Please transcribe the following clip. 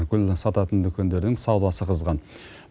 гүл сататын дүкендердің саудасы қызған